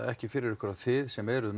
ekki fyrir ykkur þið sem eruð